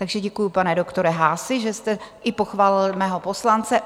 Takže děkuju, pane doktore Haasi, že jste i pochválil mého poslance.